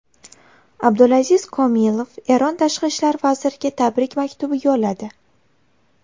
Abdulaziz Komilov Eron Tashqi ishlar vaziriga tabrik maktubi yo‘lladi.